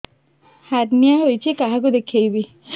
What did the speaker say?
hernia ହୋଇଛି କାହାକୁ ଦେଖେଇବି